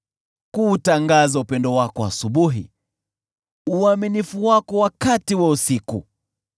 kuutangaza upendo wako asubuhi, na uaminifu wako wakati wa usiku,